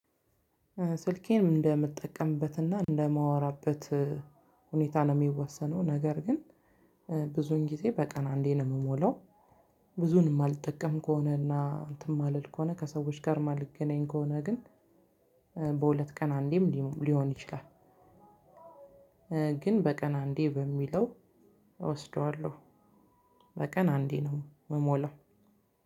ስልኬን እንደምጠቀምበትና እንደማወራበት ሁኔታ ነው የሚወሰነው ነገር ግን ብዙውን ጊዜ በቀን አንዴ ነው የምሞላው። ብዙውን የማልጠቀም ከሆነ እና እንትን ማልል ከሆነ ከሰዎች ጋር ማልገናኝ ከሆነ ግን በሁለት ቀን አንዴም ሊሆን ይችላል። ግን በቀን አንዴ በሚለው እወስደዋለው። በቀን አንዴ ነው የምሞላው።